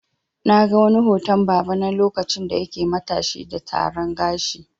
Na ga wani hoton baba na lokacin da yake matashi da Taran gashi.